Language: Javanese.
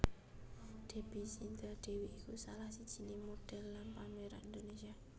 Debby Cynthia Dewi iku salah sijiné modhél lan pemeran Indonesia